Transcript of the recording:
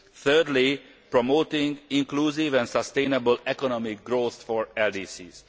thirdly, promoting inclusive and sustainable economic growth for LDCs.